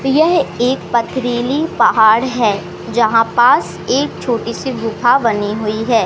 यह एक पथरीली पहाड़ है जहां पास एक छोटी सी गुफा बनी हुई है।